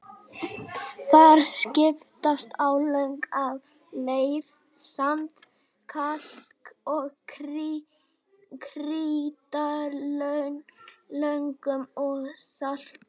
Þar skiptast á lög af leir-, sand-, kalk- og krítarlögum og salti.